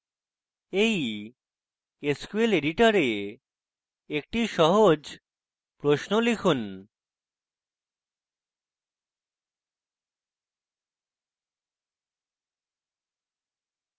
এই sql editor একটি সহজ প্রশ্ন লিখুন